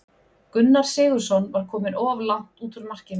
Gunnar Sigurðsson var kominn of langt út úr markinu.